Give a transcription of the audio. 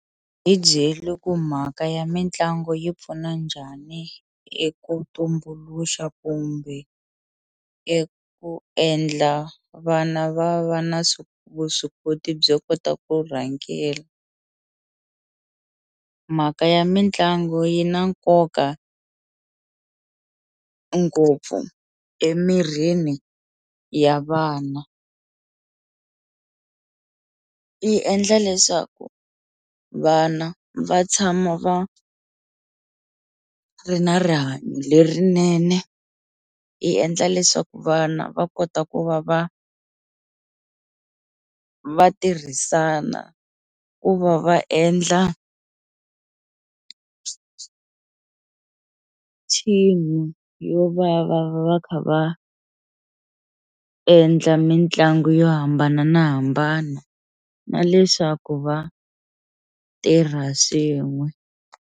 Hi byeli ku mhaka ya mitlangu yi pfuna njhani eku tumbuluxa kumbe eku endla vana va va na vuswikoti byo kota ku rhangela. Mhaka ya mitlangu yi na nkoka ngopfu emirhini ya vana yi endla leswaku vana va tshama va ri na rihanyo lerinene yi endla leswaku vana va kota ku va va va tirhisana ku va va endla team-i yo va va va kha va endla mitlangu yo hambananahambana na leswaku va tirha swin'we.